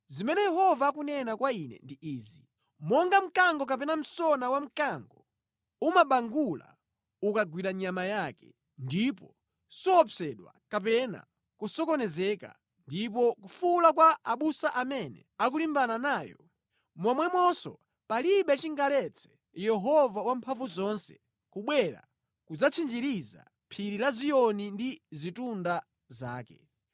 Zimene Yehova akunena kwa ine ndi izi: “Monga mkango kapena msona wamkango umabangula ukagwira nyama yake, ndipo suopsedwa kapena kusokonezeka ndi kufuwula kwa abusa amene akulimbana nayo, momwemonso palibe chingaletse Yehova Wamphamvuzonse kubwera kudzatchinjiriza phiri la Ziyoni ndi zitunda zake.